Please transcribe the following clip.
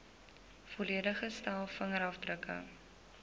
volledige stel vingerafdrukke